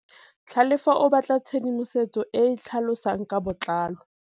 Tlhalefô o batla tshedimosetsô e e tlhalosang ka botlalô.